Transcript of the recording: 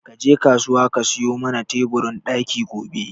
Ka je kasuwa ka sayo mana teburin ɗaki gobe